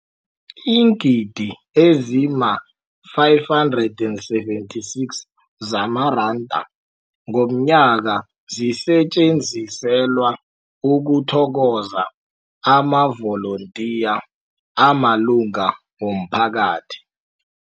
Iingidi ezima-576 zamaranda ngomnyaka zisetjenziselwa ukuthokoza amavolontiya amalunga womphakathi.